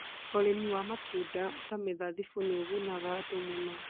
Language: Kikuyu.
ũrĩmi wa matunda ta mĩthabibũ nĩ ũgunaga andũ mũno.